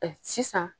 sisan